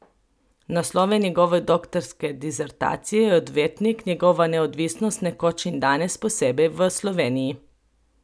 Naslov njegove doktorske disertacije je Odvetnik, njegova neodvisnost nekoč in danes, posebej v Sloveniji.